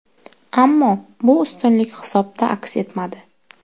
Ammo bu ustunlik hisobda aks etmadi.